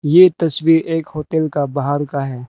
ये तस्वीर एक होटल का बाहर का है।